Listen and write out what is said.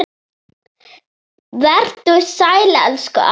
Vertu sæll, elsku afi minn.